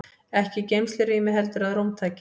Ekki í geymslurými heldur að rúmtaki.